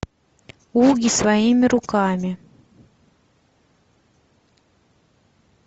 угги своими руками